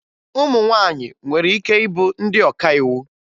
Ụmụ nwaanyị nwere ike ịbụ ndị ọkàiwu